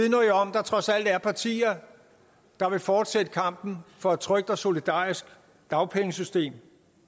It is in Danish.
der trods alt er partier der vil fortsætte kampen for et trygt og solidarisk dagpengesystem